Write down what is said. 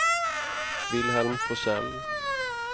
Wilhelm Forsell